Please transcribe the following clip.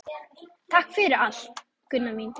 Takk fyrir allt, Gunna mín.